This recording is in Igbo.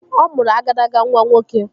Ọ mụrụ agadaga nwa nwoke